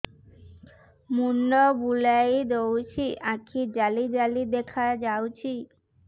ମୁଣ୍ଡ ବୁଲେଇ ଦଉଚି ଆଖି ଜାଲି ଜାଲି ଦେଖା ଯାଉଚି